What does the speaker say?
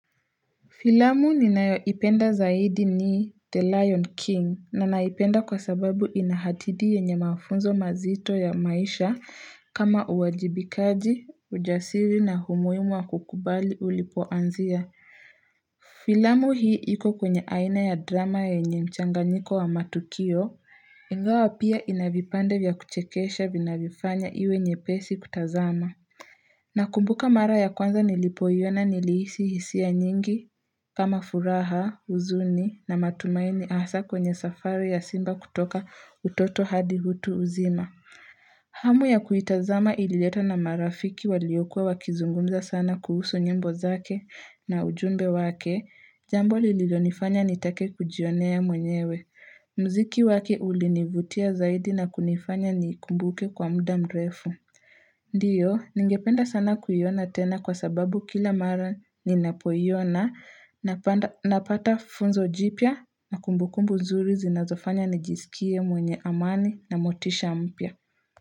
Filamu ninayoipenda zaidi ni The Lion King na naipenda kwa sababu ina hatidi yenye mafunzo mazito ya maisha kama uwajibikaji, ujasiri na humuimu wa kukubali ulipoanzia. Filamu hii iko kwenye aina ya drama yenye mchanganyiko wa matukio, ingawa pia ina vipande vya kuchekesha vinavyofanya iwe nyepesi kutazama. Nakumbuka mara ya kwanza nilipoiona nilihisi hisia nyingi kama furaha, huzuni na matumaini asa kwenye safari ya simba kutoka utoto hadi utu uzima. Hamu ya kuitazama ililetwa na marafiki waliokuwa wakizungumza sana kuhusu nyimbo zake na ujumbe wake, jambo lililonifanya nitake kujionea mwenyewe. Mziki wake ulinivutia zaidi na kunifanya niikumbuke kwa muda mrefu. Ndiyo, ningependa sana kuiona tena kwa sababu kila mara ninapoiona Napata funzo jipya na kumbukumbu zuri zinazofanya nijisikie mwenye amani na motisha mpya.